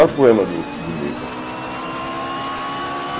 maior poema do do livro.